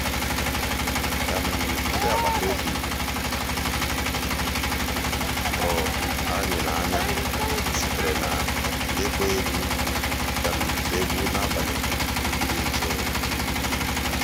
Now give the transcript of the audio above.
ndị́ àgbàtà òbí um tụ̀rụ̀ ànyị́ n'ànyá síté n'ị́kpọ́ égwu égwu um n'àbàlí um dị́ jụ́ụ́.